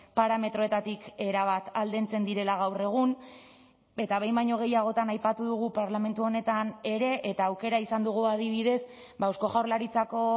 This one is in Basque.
parametroetatik erabat aldentzen direla gaur egun eta behin baino gehiagotan aipatu dugu parlamentu honetan ere eta aukera izan dugu adibidez eusko jaurlaritzako